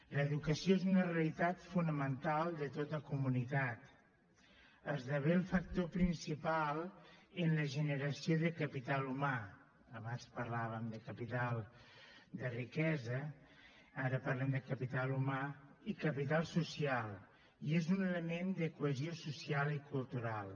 l’educació és una realitat fonamental de tota comunitat esdevé el factor principal en la generació de capital humà abans parlàvem de capital de riquesa ara parlem de capital humà i capital social i és un element de cohesió social i cultural